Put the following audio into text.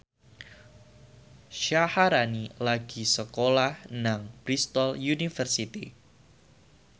Syaharani lagi sekolah nang Bristol university